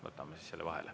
Võtame selle siis vahele.